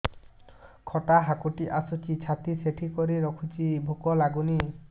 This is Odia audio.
ଖଟା ହାକୁଟି ଆସୁଛି ଛାତି ଠେସିକରି ରଖୁଛି ଭୁକ ଲାଗୁନି